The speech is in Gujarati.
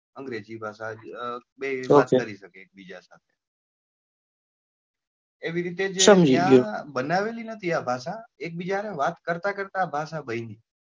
અંગ્રેજી ભાષા બેં વાત કરી શકે એક બીજા સાથે એવી રીતે જ આ બનાવેલી નથી આ એકબીજા ને વાત કરતા કરતા બની છે.